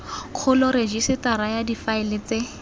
kgolo rejisetara ya difaele tse